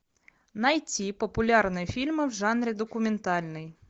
найти популярные фильмы в жанре документальный